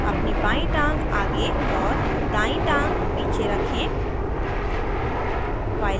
अपनी बायीं टाँग आगे और दायीं टाँग पीछे रखें